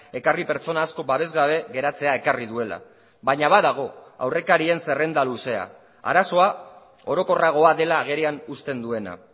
ekarri pertsona asko babesgabe geratzea ekarri duela baina badago aurrekarien zerrenda luzea arazoa orokorragoa dela agerian uzten duena